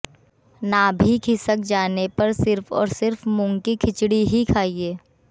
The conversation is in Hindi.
नाभि खिसक जाने पर सिर्फ और सिर्फ मूंग की खिचड़ी ही खाइए